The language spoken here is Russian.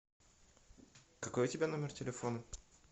какой у тебя номер телефона